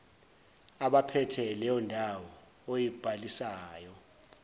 abaphethe leyondawo oyibhalisayo